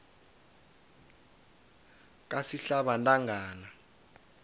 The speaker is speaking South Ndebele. kasihlabantangana